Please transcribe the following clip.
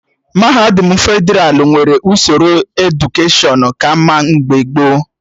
Mahadum Fedralụ nwere usoro edukeshọn ka mma mgbe gboo